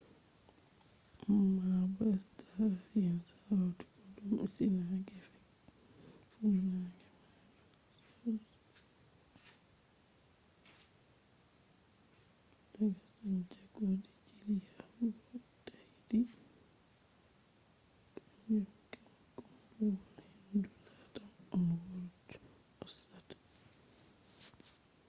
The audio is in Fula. ammabo star alliance hauti kodume sina gefe funange mayo south pacific daga santiago de chile yahugo tahiti kanjum kam kuumbuwal-hendu latam oneworld hosata